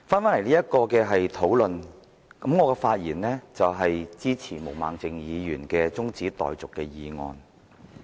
回到此項討論，我的發言是支持毛孟靜議員的中止待續議案。